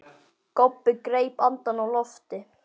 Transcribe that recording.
Kobbi greip andann á lofti.